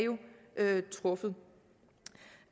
truffet